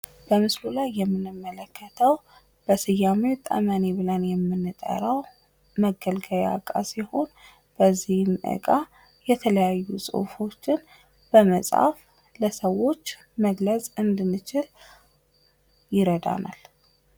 በምስሉ ላይ የምንመለከተው በስያሜው ጠመኔ ብለን የምንጠራው መገልገያ እቃ ሲሆን በዚህ እቃ የተለያዩ ጽሑፎችን በመጻፍ ለሰዎች መግለጽ እንድንችል ይረዳናል።